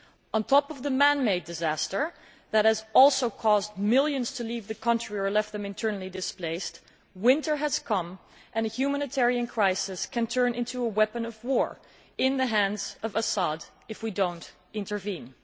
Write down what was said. On top of the man made disaster, which has also caused millions to leave the country or left them internally displaced, winter has come and a humanitarian crisis can turn into a weapon of war in the hands of Assad if we do not intervene.